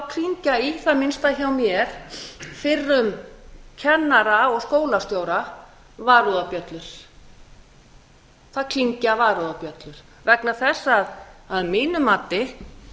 klingja í það minnsta hjá mér fyrrum kennara og skólastjóra varúðarbjöllur það klingja varúðarbjöllur vegna þess að að mínu mati